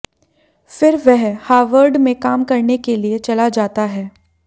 फिर वह हार्वर्ड में काम करने के लिए चला जाता है